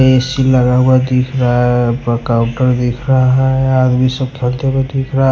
ऐसी लगा हुआ दिख रहा है ।